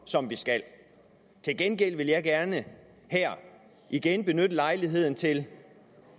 som vi skal til gengæld vil jeg gerne her igen benytte lejligheden til